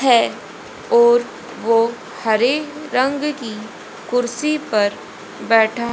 है और वो हरे रंग की कुर्सी पर बैठा--